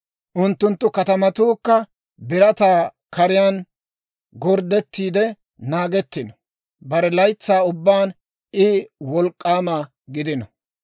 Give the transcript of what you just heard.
Unttunttu katamatuukka birataa kariyaan gorddettiide naagettino; bare laytsaa ubbaan I wolk'k'aama gidino.